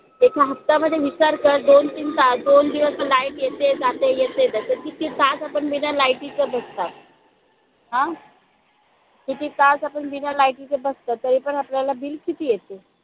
एका हप्ता मध्ये विचार कर दोन तीन ता दोन दिवस तर light येत जेते येते जेते किती तास आपण बिना light टीच बसतो आहे. हा किती तास आपण बिना light टीचे बसलो आहे तरी पण आपल्याला bill किती येते.